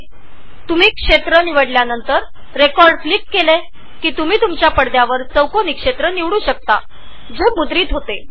जर तुम्ही रिजनवर क्लिक केले तर पडद्यावर एक आयताकृती विभाग तयार करु शकता ज्यात कॅप्चरींग होईल